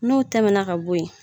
N'u tɛmɛna ka bo yi.